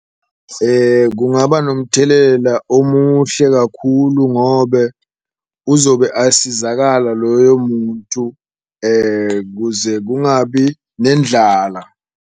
Kungaba nomthelela omuhle kakhulu ngobe uzobe asizakala loyo muntu kuze kungabi nendlala.